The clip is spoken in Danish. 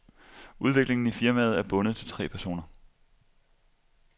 Udviklingen i firmaet er bundet til tre personer.